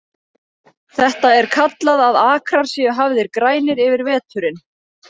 Þetta er kallað að akrar séu hafðir grænir yfir veturinn.